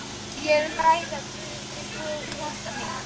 Ég vil ræða við Guð í hjarta mínu.